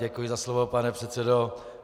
Děkuji za slovo, pane předsedo.